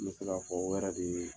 N bɛ se ka fɔ o yɛrɛ de ye